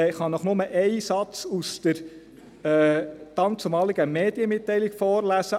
ich kann Ihnen nur einen Satz aus der damaligen Medienmitteilung vorlesen: